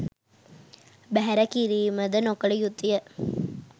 බැහැර කිරීමද නොකළයුතුය.